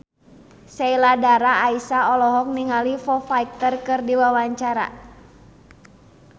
Sheila Dara Aisha olohok ningali Foo Fighter keur diwawancara